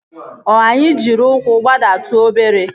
O anyị jiri ụkwụ gbadatu obere?